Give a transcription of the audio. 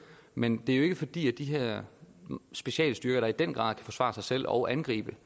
men det er jo ikke fordi de her specialstyrker der i den grad kan forsvare sig selv og angribe